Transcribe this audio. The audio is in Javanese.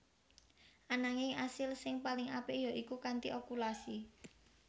Ananging asil sing paling apik ya iku kanthi okulasi